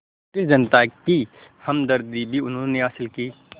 British जनता की हमदर्दी भी उन्होंने हासिल की